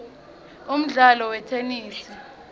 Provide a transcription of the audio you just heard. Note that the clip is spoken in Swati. umdlalo wetenesi